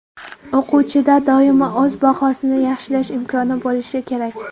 O‘quvchida doimo o‘z bahosini yaxshilash imkoni bo‘lishi kerak.